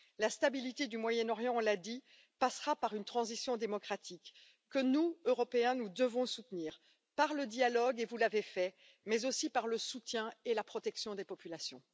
La stabilité du Moyen Orient, nous l'avons dit, passera par une transition démocratique que nous, Européens, nous devons soutenir par le dialogue vous l'avez fait mais aussi par le soutien et la protection des populations.